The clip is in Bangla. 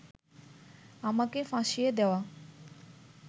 আমাকে ফাঁসিয়ে দেওয়া